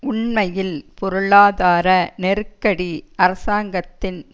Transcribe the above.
உண்மையில் பொருளாதார நெருக்கடி அரசாங்கத்தின்